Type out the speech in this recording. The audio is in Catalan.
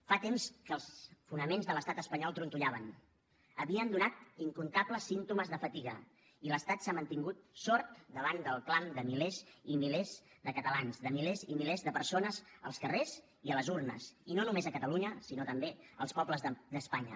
fa temps que els fonaments de l’estat espanyol trontollaven havien donat incomptables símptomes de fatiga i l’estat s’ha mantingut sord davant del clam de milers i milers de catalans de milers i milers de persones als carrers i a les urnes i no només a catalunya sinó també als pobles d’espanya